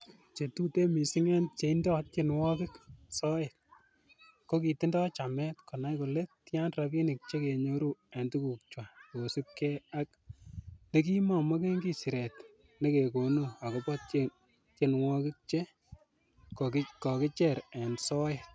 Che tuten missing en cheindo tienwogik soet, kokitindo chamet konai kole tian rabinik chekenyoru en tugukchwak kosiibge ak nekimonkomi siret nekekonu agobo tienwogik che kokicher en soet.